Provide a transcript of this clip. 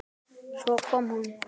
Svo kom hún.